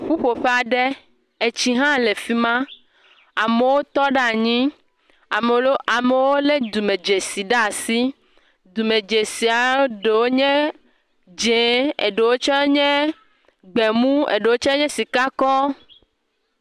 Ƒuƒoƒe aɖe, etsi hã le fima, amowo tɔ ɖe anyi, amowo lé dume dzesi ɖe asi, dume dzesia ɖowo nye dzeŋ, eɖowo tse nye gbemu, eɖowo tse nye sika kɔ.